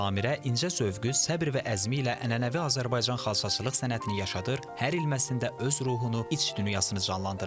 Samirə incə zövqü, səbr və əzmi ilə ənənəvi Azərbaycan xalçaçılıq sənətini yaşadın, hər ilməsində öz ruhunu, iç dünyasını canlandırır.